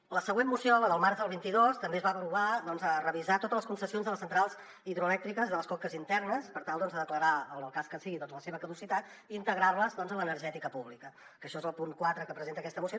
en la següent moció la del març del vint dos també es va aprovar revisar totes les concessions de les centrals hidroelèctriques de les conques internes per tal de declarar en el cas que sigui la seva caducitat i integrar les doncs en l’energètica pública que això és el punt quatre que presenta aquesta moció